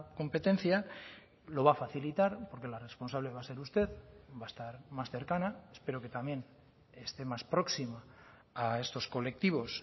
competencia lo va a facilitar porque la responsable va a ser usted va a estar más cercana espero que también esté más próxima a estos colectivos